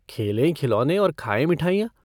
खेलें खिलौने और खायें मिठाइयाँ।